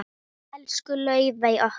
Elsku Laufey okkar.